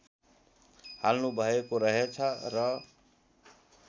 हाल्नुभएको रहेछ र